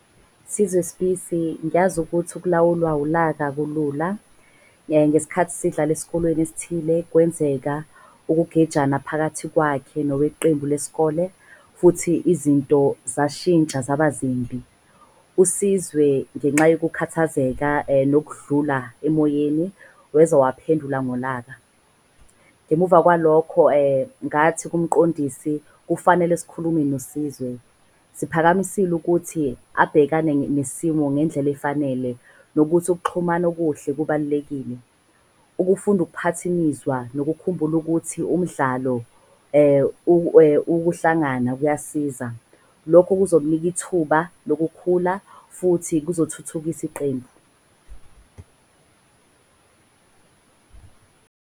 Sizwe Sibisi ngiyazi ukuthi ukulawulwa ulaka akulula. Ngesikhathi sidlala esikolweni esithile, kwenzeka ukugejana phakathi kwakhe noweqembu leskole futhi izinto zashintsha zabazimbi. USizwe ngenxa yokukhathazeka nokudlula emoyeni weza waphendula ngolaka. Ngemuva kwalokho ngathi kumqondisi kufanele sikhulume noSizwe siphakamisile ukuthi abhekane nesimo ngendlela efanele. Nokuthi ukuxhumana okuhle kubalulekile. Ukufunda ukuphatha imizwa nokukhumbula ukuthi umdlalo ukuhlangana kuyasiza. Lokho kuzomnika ithuba lokukhula futhi kuzothuthukisa iqembu.